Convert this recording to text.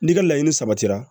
N'i ka laɲini sabatira